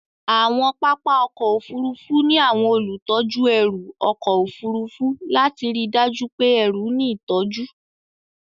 Àwọn pápá ọkọ̀ Òfurufú ní àwọn olùtọ́jú ẹrù ọkọ̀ Òfurufú lati ríi dájú pé ẹrù ní ìtọ́jú.